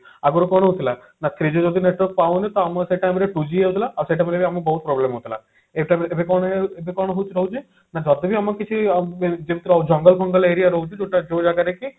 ଆଗରୁ କଣ ହଉ ଥିଲା ନା three G ଯଦି network ପାଉନି ତ ଆମର ସେ time ରେ two G ହେଇ ଯାଉଥିଲା ଆଉ ସେଇ time ରେ ଆମକୁ ବହୁତ problem ହଉଥିଲା ଏ time ଏବେ କଣ ଏବେ କଣ ହଉଛି ହଉଛି ନା ଯଦି ବି ଆମେ କିଛି ଜଙ୍ଗଲ ଫଙ୍ଗଲ aria ରହୁଛି ଯୋଉଟା ଯୋଉ ଜାଗାରେ କି